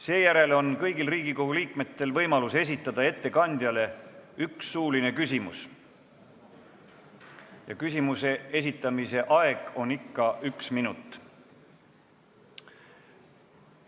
Seejärel on kõigil Riigikogu liikmetel võimalus esitada ettekandjale üks suuline küsimus, mille esitamise aeg on ikka üks minut.